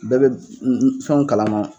Bɛɛ be fɛnw kalama